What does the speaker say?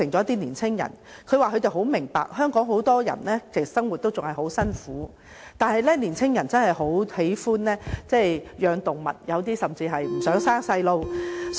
他們說十分明白香港很多人的生活仍然相當艱苦，但年輕人真的十分喜歡飼養動物，有些甚至不想生孩子。